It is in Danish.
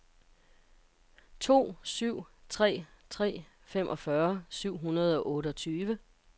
to syv tre tre femogfyrre syv hundrede og otteogtyve